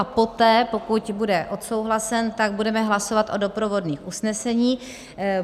A poté, pokud bude odsouhlasen, tak budeme hlasovat o doprovodných usneseních.